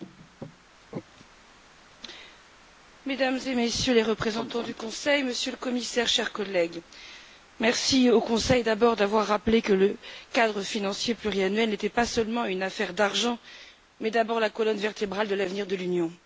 Monsieur le Président, Mesdames et Messieurs les représentants du Conseil, Monsieur le Commissaire, chers collègues, merci au Conseil d'avoir rappelé que le cadre financier pluriannuel n'est pas seulement une affaire d'argent, mais d'abord la colonne vertébrale de l'avenir de l'Union.